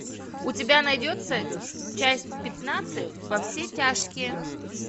у тебя найдется часть пятнадцать во все тяжкие